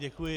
Děkuji.